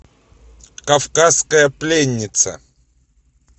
кавказская пленница